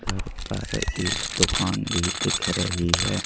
इधर पर एक दुकान भी दिख रही हैं।